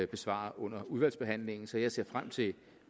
besvare under udvalgsbehandlingen så jeg ser frem til